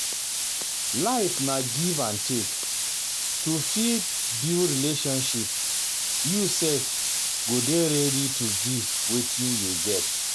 Life na Life na give and take, to fit build relationship you sef go dey ready to give wetin you get